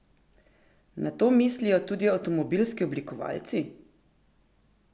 Na to mislijo tudi avtomobilski oblikovalci?